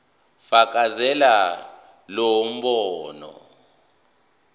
fakazela lo mbono